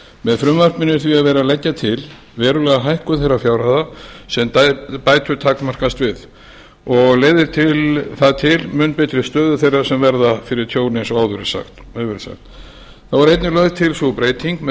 með frumvarpinu er því verið að leggja til verulega hækkun þeirra fjárhæða sem bætur takmarkast við og leiðir það til mun betri stöðu þeirra sem verða fyrir tjóni eins og áður hefur verið sagt þá er einnig lögð til sú breyting með